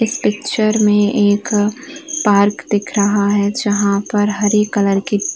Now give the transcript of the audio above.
इस पिक्चर में एक पार्क दिख रहा है जहाँ पर हरी कलर की --